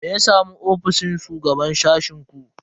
Me ya samu ofishin shugaban sashen ku?